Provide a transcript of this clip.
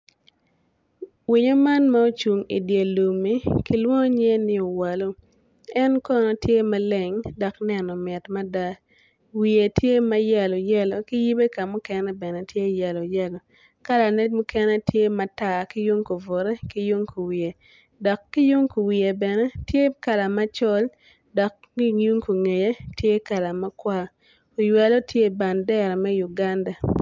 Winyo man ma ocung i dye lummi kilwongo ni owelo en kono tye maleng dok neno mit mada wiye tye ma yelo yelo ki yibe bene ka mukene tye ma yelo yelo kalane mukene tye matar ki yung kuwiye ki kubute dok ki yung kuwiye tye bene kala macol dok ki yung kungeye tye kala makwar, oywelo tye i bandera me Uganda.